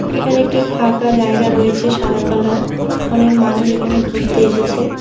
এখানে একটি ফাঁকা জায়গা রয়েছে সাদা কালার অনেক মানুষ এখানে ঘুরতে এসেছে।